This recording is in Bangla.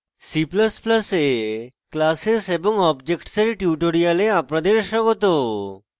c ++ এ classes এবং objects এর tutorial আপনাদের স্বাগত